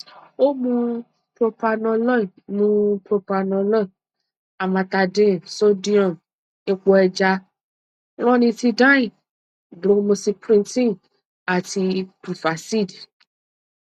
o mu propranolol mu propranolol amantadine sodium epo ẹja ranitidine bromocriptine ati prevacid